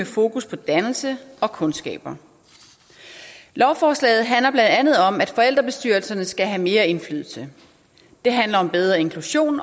fokus på dannelse og kundskaber lovforslaget handler blandt andet om at forældrebestyrelserne skal have mere indflydelse det handler om bedre inklusion